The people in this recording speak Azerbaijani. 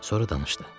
Sonra danışdı.